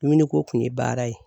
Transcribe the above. Miniko kun ye baara ye